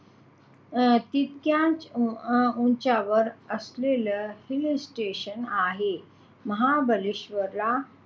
अं हे तितक्याच अं उंचावर असलेले हिल स्टेशन आहे महाबळेश्वरला,